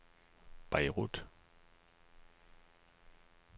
Beirut